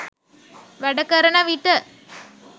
වැඩ කරන විට